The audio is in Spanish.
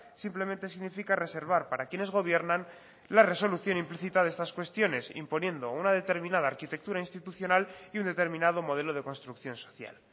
simplemente significa reservar para quienes gobiernan la resolución implícita de estas cuestiones imponiendo una determinada arquitectura institucional y un determinado modelo de construcción social